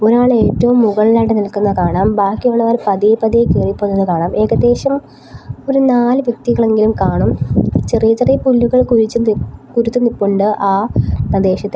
ഒരാൾ ഏറ്റവും മുകളിലായിട്ട് നിൽക്കുന്ന കാണാം ബാക്കിയുള്ളവർ പതിയെ പതിയെ കേറി പോകുന്നതു കാണാം ഏകദേശം ഒരു നാല് വ്യക്തികൾ എങ്കിലും കാണും ചെറിയ ചെറിയ പുല്ലുകൾ കുഴിച്ചും തുരു കുരുത്തും നിപ്പൊണ്ട് ആ പ്രദേശത്തിൽ.